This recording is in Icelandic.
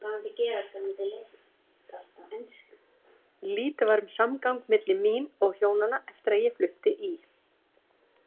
Lítið var um samgang milli mín og Hjónanna eftir að ég flutti í